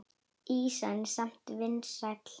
Ýsan er samt vinsæl.